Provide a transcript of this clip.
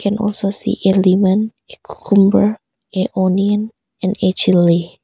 Can also see a lemon a cucumber a onion and a chilly.